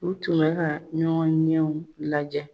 U tun bɛ ka ɲɔgɔn ɲɛw lajɛ